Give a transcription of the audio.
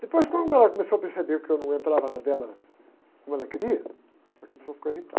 Depois, quando ela começou a perceber que eu não entrava na dela como ela queria, ela começou a ficar irritada.